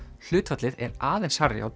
hlutfallið er aðeins hærra hjá